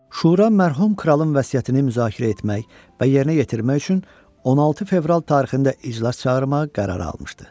Şura mərhum kralın vəsiyyətini müzakirə etmək və yerinə yetirmək üçün 16 fevral tarixində iclas çağırmağa qərar almışdı.